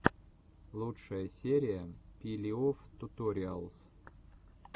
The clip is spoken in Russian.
лучшая серия пилеофтуториалс